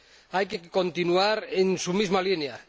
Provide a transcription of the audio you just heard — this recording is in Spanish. Hay que continuar en su misma línea.